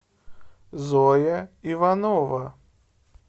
зоя иванова